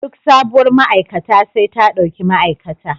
Duk sabuwar ma'aikata sai ta ɗauki ma'aikata.